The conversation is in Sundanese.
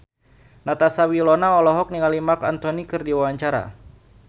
Natasha Wilona olohok ningali Marc Anthony keur diwawancara